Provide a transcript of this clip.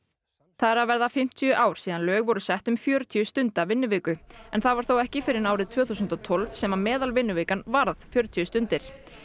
það eru að verða fimmtíu ár síðan lög voru sett um fjörutíu stunda vinnuviku það var þó ekki fyrr en árið tvö þúsund og tólf sem meðalvinnuvikan varð fjörutíu stundir